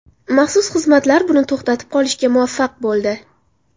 Maxsus xizmatlar buni to‘xtatib qolishga muvaffaq bo‘ldi.